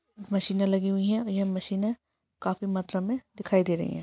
मशीने लगी हुई है ये मशीनें काफी मात्रा मे दिखाई दे रही है।